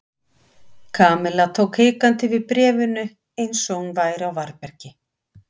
Kamilla tók hikandi við bréfinu eins og hún væri á varðbergi.